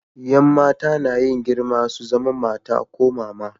Yan mata na yin girma su zama mata ko mama.